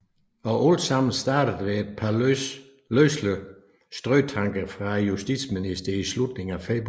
Og altsammen startet ved et par løselige strøtanker fra justitsministeren i slutningen af februar